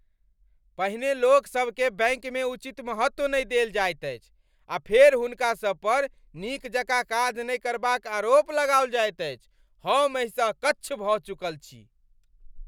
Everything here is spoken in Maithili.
पहिने लोकसभकेँ बैंकमे उचित महत्व नहि देल जायत अछि, आ फेर हुनकासभ पर नीक जकाँ काज नहि करबाक आरोप लगाओल जाइत अछि। हम एहिसँ अक्च्छ भऽ चुकल छी।